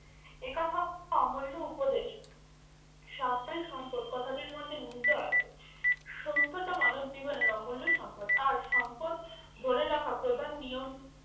এ কথা অমূল্য উপদেশ, স্বাস্থ্যই সম্পদ কথাটির মধ্যে নিহিত আছে। সুস্থতা মানব জীবনের অমূল্য সম্পদ আর, সম্পদ ধরে রাখা প্রধান নিয়ম